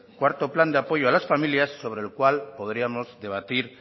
cuarto plan de apoyo a las familias sobre el cual podríamos debatir